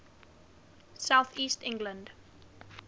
south east england